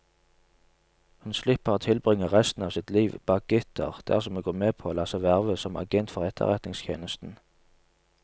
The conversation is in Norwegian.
Hun slipper å tilbringe resten av sitt liv bak gitter dersom hun går med på å la seg verve som agent for etterretningstjenesten.